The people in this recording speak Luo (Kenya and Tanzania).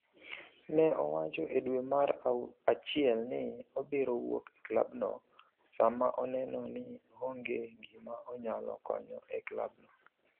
Ne owacho e dwe mar achiel ni obiro wuok e klabno sama oneno ni onge gima onyalo konyo e klabno.